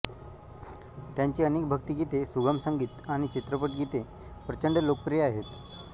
त्यांची अनेक भक्तीगीते सुगम संगीत आणि चित्रपट गीते प्रचंड लोकप्रिय आहेत